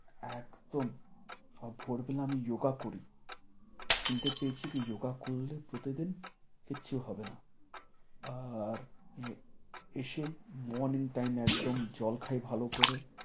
একদম আর ভোরবেলা আমি ইয়োগা করি। শুনতে পেয়েছি কে যোগা করলে কিচ্ছু হবেনা। আর এ~ এসে morning time একদম জল খাই ভালো করে।